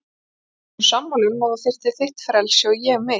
Við vorum sammála um að þú þyrftir þitt frelsi og ég mitt.